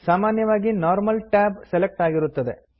ಸಾಮಾನ್ಯವಾಗಿ normal tab select ಆಗಿರುತ್ತದೆ